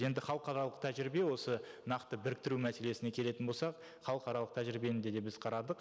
енді халықаралық тәжірибе осы нақты біріктіру мәселесіне келетін болсақ халықаралық тәжірибені де де біз қарадық